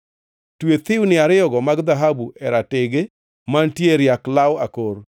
Twe thiwni ariyogo mag dhahabu e ratege mantie e riak law akor,